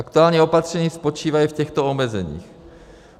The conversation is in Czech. Aktuální opatření spočívají v těchto omezeních: